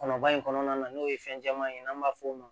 Kɔnɔbara in kɔnɔna na n'o ye fɛn caman ye n'an b'a f'o ma